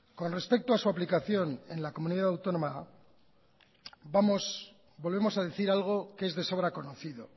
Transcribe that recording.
con respecto a su aplicación en la comunidad autónoma volvemos a decir algo que es de sobra conocido